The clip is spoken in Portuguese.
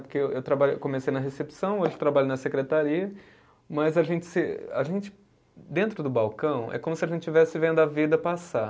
Porque eu trabalho, comecei na recepção, hoje trabalho na secretaria, mas a gente se, a gente dentro do balcão é como se a gente estivesse vendo a vida passar.